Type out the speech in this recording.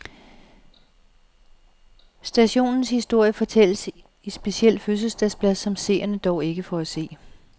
Stationens historie fortælles i specielt fødselsdagsblad, som seerne dog ikke får.